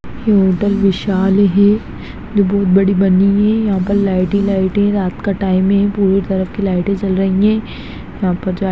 ये होटल विशाल है | बहुत बड़ी बनी हुई है | यहाँ पर लाइट ही लाइट है | रात का टाइम है पूरी तरफ की लाइटे जल रही है। यहाँ पर--